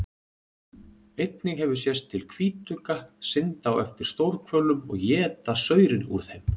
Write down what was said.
Einnig hefur sést til hvítugga synda á eftir stórhvölum og éta saurinn úr þeim.